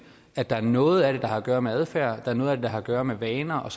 at der er noget af det der har at gøre med adfærden at der er noget af det der har at gøre med vaner og